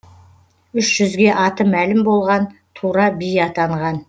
үш жүзге аты мәлім болған тура би атанған